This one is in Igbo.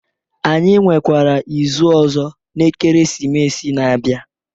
Anyi nwekwara izu ọzọ n'Ekeresimesi na-abịa.